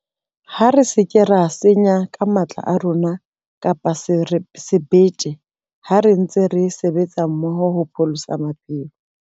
Ha re se ke ra senyang ka matla a rona kapa sebete ha re ntse re sebetsa mmoho hopholosa maphelo.